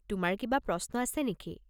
তোমাৰ কিবা প্ৰশ্ন আছে নেকি?